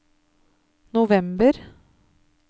november